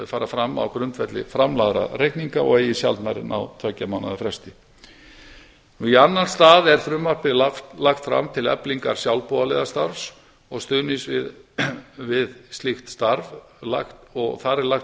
fara fram á grundvelli framlagðra reikninga og eigi sjaldnar en á tveggja mánaða fresti í annan stað er frumvarpið lagt fram til eflingar sjálfboðaliðastarf og stuðnings við slíkt starf og þar er lagt til